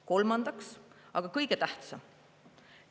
Kolmandaks, aga kõige tähtsam.